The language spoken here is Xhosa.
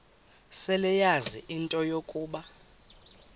seleyazi into yokuba